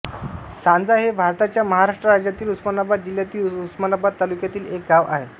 सांजा हे भारताच्या महाराष्ट्र राज्यातील उस्मानाबाद जिल्ह्यातील उस्मानाबाद तालुक्यातील एक गाव आहे